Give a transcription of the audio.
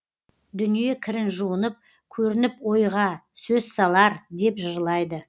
дүние кірін жуынып көрініп ойға сөз салар деп жырлайды